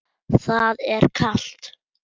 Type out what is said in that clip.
Það er kalt.